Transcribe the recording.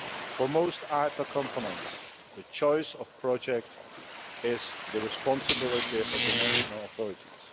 For most IPA components, the choice of projects is the responsibility of the national authorities.